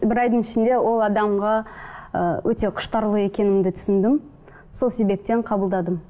бір айдың ішінде ол адамға ы өте құштарлы екенімді түсіндім сол себептен қабылдадым